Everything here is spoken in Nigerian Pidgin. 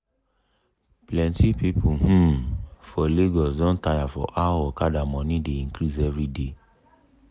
plenti people um for lagos don tire for how okada money dey increase everyday.